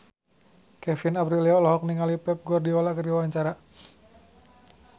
Kevin Aprilio olohok ningali Pep Guardiola keur diwawancara